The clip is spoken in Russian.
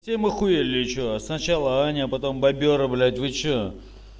ахуели что сначала аня а потом бобёр облить вы что